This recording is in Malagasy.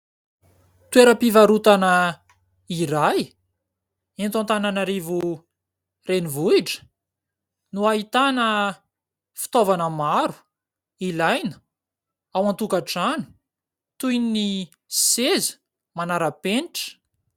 Toeram-pivarotana iray eto Antananarivo renivohitra no ahitana fitaovana maro ilaina ao an-tokantrano toy ny seza manaram-penitra.